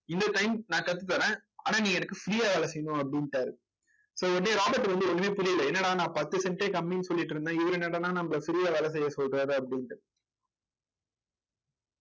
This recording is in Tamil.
இந்த time நான் கத்து தரேன் ஆனா நீ எனக்கு free யா வேலை செய்யணும் அப்படின்னுட்டாரு so உடனே ராபர்ட் வந்து ஒண்ணுமே புரியல என்னடா நான் பத்து cent ஏ கம்மின்னு சொல்லிட்டு இருந்தேன் இவரு என்னடான்னா நம்மளை free யா வேலை செய்ய சொல்றாரு அப்படின்னுட்டு